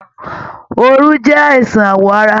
Òru jẹ àìsàn awọ ara.